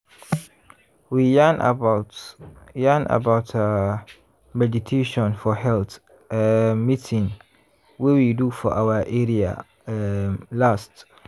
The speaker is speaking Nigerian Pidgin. we yarn about yarn about ah! meditation for health um meeting wey we do for our area um last.